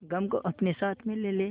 गम को अपने साथ में ले ले